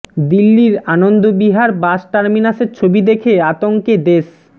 দিল্লির আনন্দ বিহার বাস টার্মিনাসের ছবি দেখে আতঙ্কে দেশ